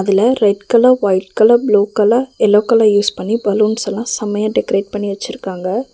இதுல red colour white colour blue colour yellow colour use பண்ணி பலூன்ஸ்ஸல்லா செமையா டெக்ரேட் பண்ணி வச்சிருக்காங்க.